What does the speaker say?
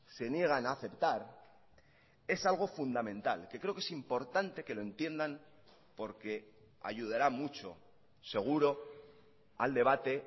se niegan a aceptar es algo fundamental que creo que es importante que lo entiendan porque ayudará mucho seguro al debate